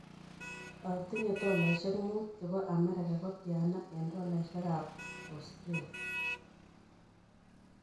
Kot atinye tolaisiek muut che po amerika ko tyana eng' tolaisiekab australia